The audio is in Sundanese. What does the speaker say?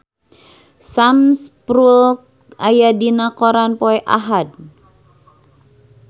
Sam Spruell aya dina koran poe Ahad